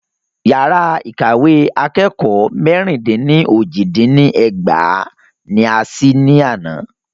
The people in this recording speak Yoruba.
Yàrá ìkàwé akẹ́kọ̀ọ́ mẹ́ẹ̀rín dín ní ójì dín ní ẹgbàá ní a sí ní àná.